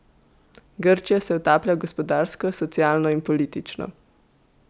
Grčija se utaplja gospodarsko, socialno in politično.